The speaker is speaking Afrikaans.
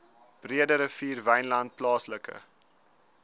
breederivier wynland plaaslike